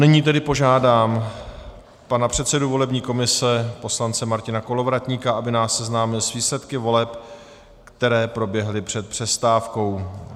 Nyní tedy požádám pana předsedu volební komise poslance Martina Kolovratníka, aby nás seznámil s výsledky voleb, které proběhly před přestávkou.